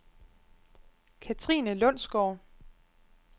Katrine Lundsgaard